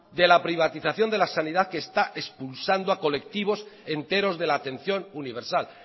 de la privatización de la sanidad que está expulsando a colectivos enteros de la atención universal